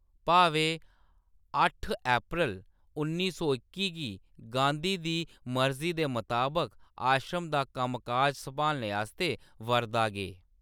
भावे अट्ठ अप्रैल उन्नी सौ इक्की गी गांधी दी मर्जी दे मताबक आश्रम दा कम्म-काज संभालने आस्तै वर्धा गे।